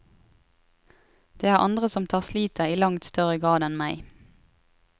Det er andre som tar slitet i langt større grad enn meg.